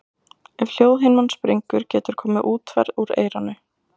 Ef hljóðhimnan springur getur komið útferð úr eyranu.